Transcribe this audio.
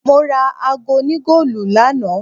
Mora aago òní goolu lánàá.